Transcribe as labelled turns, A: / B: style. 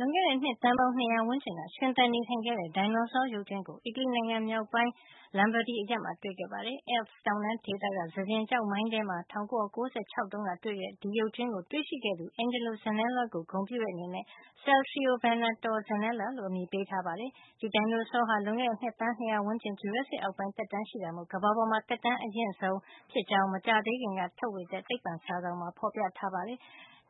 A: လွန်ခဲ့တဲ့ နှစ်သန်းပေါင်း ၂၀၀ ဝန်းကျင်က ရှင်သန်နေထိုင်ခဲ့တဲ့ ဒိုင်နိုဆော ရုပ်ကြွင်းကို အီတလီနိုင်ငံ မြောက်ပိုင်း Lombardy အရပ်မှာ တွေ့ရှိခဲ့ပါတယ်။ Alps တောင်တန်းဒေသက စကျင်ကျောက်မိုင်းထဲမှာ ၁၉၉၆ ခုနှစ်တုန်းက တွေ့ခဲ့တဲ့ ဒီရုပ်ကြွင်းကို တွေ့ရှိသူ Angelo Zanella ကို ဂုဏ်ပြုတဲ့ အနေနဲ့ Saltriovenator zanellai လို့အမည်ပေးထားပါတယ်။ ဒီဒိုင်နိုဆောဟာ လွန်ခဲ့တဲ့ နှစ် သန်း ၂၀၀ ဝန်းကျင် Jurassic အောက်ပိုင်းသက်တမ်းရှိတာမို့ ကမ္ဘာပေါ်မှာ သက်တမ်း အရင့်ဆုံး ဒိုင်နိုဆော ဖြစ်ကြောင်း မကြာသေးခင်ကမှ ထုတ်ဝေခဲ့တဲ့ သိပ္ပံစာစောင်မှာ ဖေါ်ပြထားပါတယ်။